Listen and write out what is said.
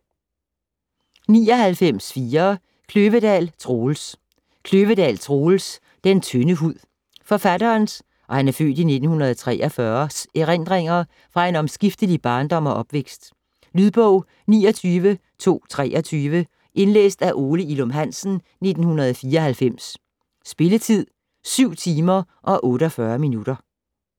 99.4 Kløvedal, Troels Kløvedal, Troels: Den tynde hud Forfatterens (f. 1943) erindringer fra en omskiftelig barndom og opvækst. Lydbog 29223 Indlæst af Ole Ilum Hansen, 1994. Spilletid: 7 timer, 48 minutter.